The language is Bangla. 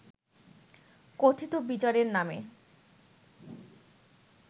কথিত বিচারের নামে